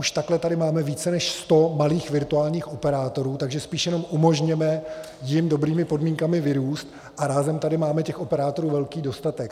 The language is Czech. Už takhle tady máme více než sto malých virtuálních operátorů, takže spíš jenom umožněme jim dobrými podmínkami vyrůst, a rázem tady máme těch operátorů velký dostatek.